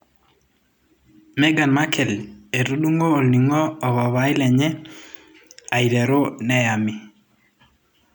Meghan Markel etudungo olningo o papai lenye aiteru neyami.